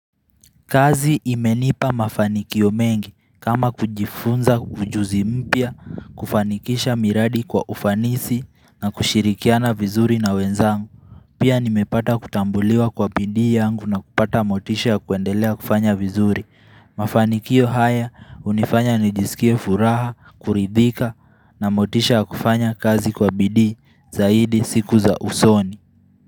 Kazi imenipa mafanikio mengi kama kujifunza ujuzi mpya kufanikisha miradi kwa ufanisi na kushirikiana vizuri na wenzangu Pia nimepata kutambuliwa kwa bidii yangu na kupata motisha ya kuendelea kufanya vizuri Mafanikio haya hunifanya nijisikie furaha, kuridhika na motisha ya kufanya kazi kwa bidii zaidi siku za usoni.